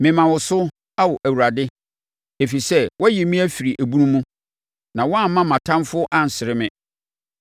Mema wo so, Ao Awurade, ɛfiri sɛ, woayi me afiri ebunu mu na woamma mʼatamfoɔ ansere me.